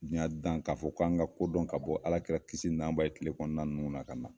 Diyan dan k'a fɔ, k'an ka kodɔn ka bɔ Alakira kisi nama b'a ye kile kɔnɔna ninnu na ka na.